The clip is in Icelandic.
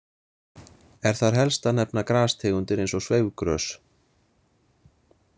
Er þar helst að nefna grastegundir eins og sveifgrös.